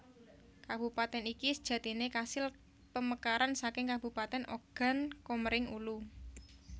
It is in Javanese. Kabupatèn iki sejatine kasil pemekaran saking kabupatèn Ogan Komering Ulu